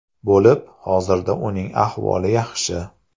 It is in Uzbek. bo‘lib, hozirda uning ahvoli yaxshi.